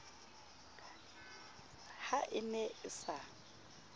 ha e ne e sa